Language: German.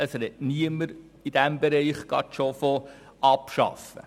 In diesem Bereich spricht niemand gleich von abschaffen.